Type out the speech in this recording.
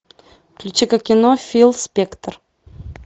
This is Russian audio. включи ка кино фил спектр